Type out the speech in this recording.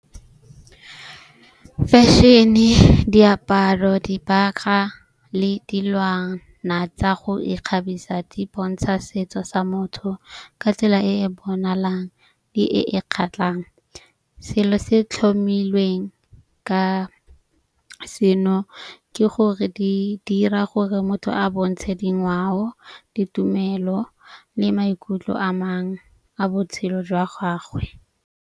Fashion-e, diaparo, dibagwa le dilwana tsa go ikgabisa di bontsha setso sa motho ka tsela e e bonalang le e e kgatlhang. Selo se tlhomilweng ka seno ke gore di dira gore motho a bontshe dingwao, ditumelo le maikutlo a mangwe a botshelo jwa gagwe.